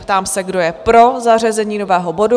Ptám se, kdo je pro zařazení nového bodu?